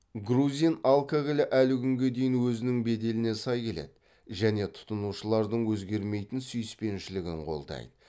грузин алкогольі әлі күнге дейін өзінің беделіне сай келеді және тұтынушылардың өзгермейтін сүйіспеншілігін қолдайды